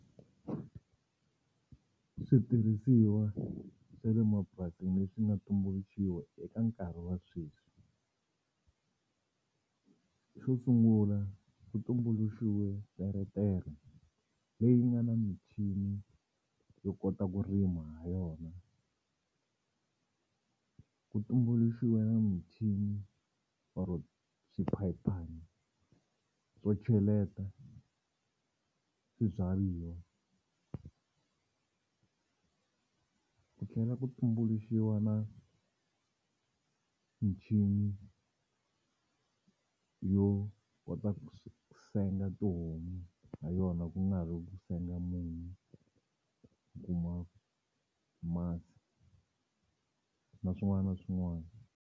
Switirhisiwa swa le mapurasini leswi nga tumbuluxiwa eka nkarhi wa sweswi. Xo sungula ku tumbuluxiwe teretere leyi nga na michini yo kota ku rima ha yona, ku tumbuluxiwe na michini or swiphayiphani swo cheleta swibyariwa ku tlhela ku tumbuluxiwa na michini yo kota ku senga tihomu ha yona ku nga ri ku senga munhu u kuma masi na swin'wana na swin'wana.